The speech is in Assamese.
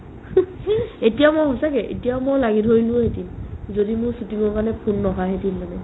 এতিয়া মই সঁচাকে এতিয়া মই লাগি ধৰিলেও থাকিম যদি মই shooting ৰ কাৰণে phone নহা হেতেন মানে